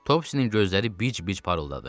Topsinin gözləri bic-bic parıldadı.